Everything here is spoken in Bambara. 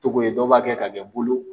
Cogo ye dɔw b'a kɛ, ka kɛ bulu